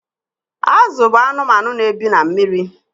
Azụ bụ anụmanụ na-ebi na mmiri.